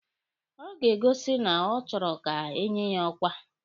Ọ ga-egosi na ọ chọrọ ka enye ya ọkwa.